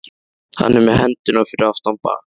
Hann er með hendurnar fyrir aftan bak.